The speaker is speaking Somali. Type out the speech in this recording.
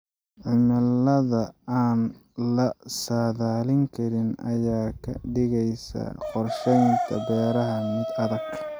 Cimilada aan la saadaalin karin ayaa ka dhigaysa qorsheynta beeraha mid adag.